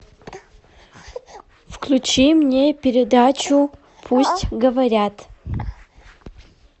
включи мне передачу пусть говорят